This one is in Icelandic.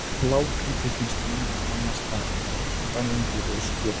Blágrýti finnst víða annars staðar, til dæmis á Grænlandi og í Skotlandi.